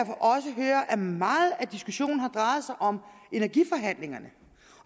meget af diskussionen har drejet sig om energiforhandlingerne